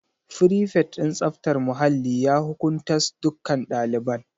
Frifet din tsaftar muhalli ya hukuntas dukkan ɗaliban